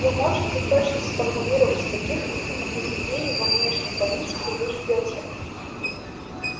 вы можете точно сформулировать каких именно изменений во внешней политике вы ждёте